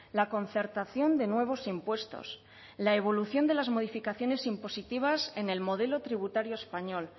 la concertación de nuevos impuestos la evolución de las modificaciones impositivas en el modelo tributario español